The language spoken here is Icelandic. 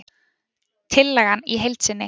Tillagan í heild sinni